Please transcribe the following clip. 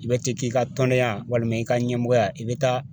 I bɛ te k'i ka tɔndenya walima i ka ɲɛmɔgɔya i bɛ taa